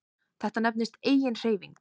Þetta nefnist eiginhreyfing.